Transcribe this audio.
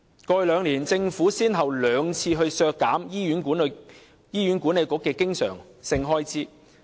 過去兩年，政府先後兩次削減醫院管理局的經常性開支。